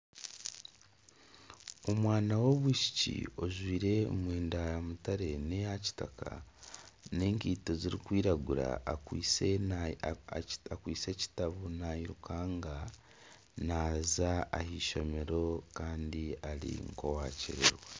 Omwana w'omwishiki ojwire emyenda ya mutare n'eyakitaka n'enkiito zirikwiragura akwitse ekitabo nayirukanga naza ah'eishomero kandi ari nka owakyerererwa.